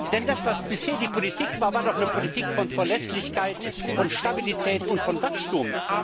Denn das, was bisher die Politik war, war doch eine Politik von Verlässlichkeit, von Stabilität und von Wachstum!